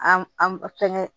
An an an fɛnkɛ